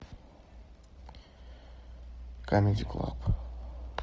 камеди клаб